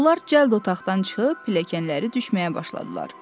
Onlar cəld otaqdan çıxıb pilləkənləri düşməyə başladılar.